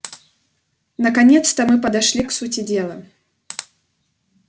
наконец-то мы подошли к сути дела